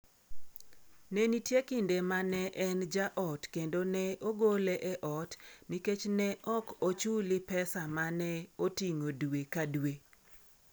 Ne nitie kinde ma ne en ja ot kendo ne ogole e ot nikech ne ok ochuli pesa ma ne oting’o dwe ka dwe.